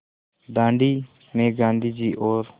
दाँडी में गाँधी जी और